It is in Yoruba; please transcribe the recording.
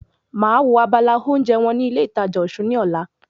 Màá wo abala oúnjẹ wọn ní ilé ìtajà Osun ní ọ̀la